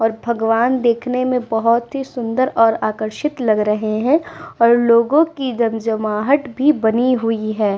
और भगवान देखने में बहुत ही सुन्दर और आकर्षित लग रहे हैं और लोगो की जनजमाहत भी बनी हूई है।